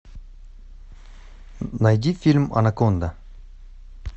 найди фильм анаконда